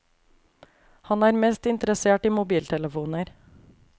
Han er mest interessert i mobiltelefoner.